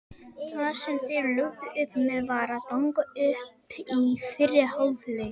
Það sem þeir lögðu upp með var að ganga upp í fyrri hálfleik.